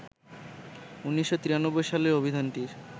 ১৯৯৩ সালে অভিধানটির